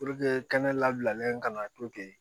kɛnɛ labilalen kana to ten